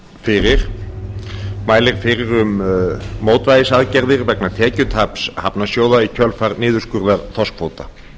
fyrir mælir fyrir um mótvægisaðgerðir vegna tekjutaps hafnarsjóða í kjölfar niðurskurðar þorskkvóta